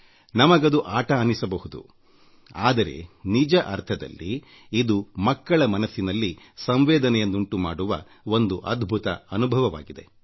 ನಮಗದು ಆಟ ಅನ್ನಿಸಬಹುದು ಆದರೆ ನಿಜ ಅರ್ಥದಲ್ಲಿ ಇದು ಮಕ್ಕಳ ಮನಸ್ಸಿನಲ್ಲಿ ಸಂವೇದನೆಯನ್ನುಂಟುಮಾಡುವ ಒಂದು ಅದ್ಭುತ ಅನುಭವವಾಗಿದೆ